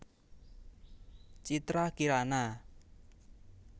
Citra Kirana